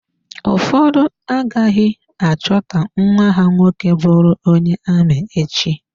Ụfọdụ agaghị achọ ka nwa ha nwoke bụrụ onye ami echi.